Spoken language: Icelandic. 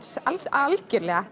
algjörlega